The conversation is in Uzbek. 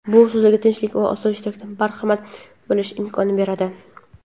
bu sizga tinchlik va osoyishtalikdan bahramand bo‘lish imkonini beradi.